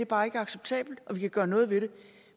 bare ikke er acceptabelt og at vi kan gøre noget ved det